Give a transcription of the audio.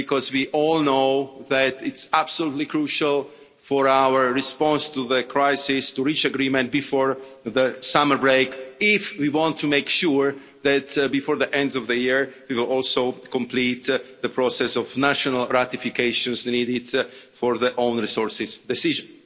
We all know that it's absolutely crucial for our response to the crisis to reach agreement before the summer break if we want to make sure that before the end of the year we will also complete the process of national ratifications needed for the own resources decision.